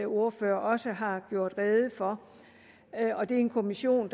ordfører også har gjort rede for det er en kommission